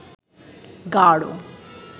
গাঁড়